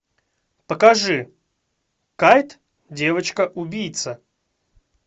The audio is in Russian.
покажи кайт девочка убийца